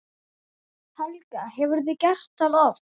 Helga: Hefurðu gert það oft?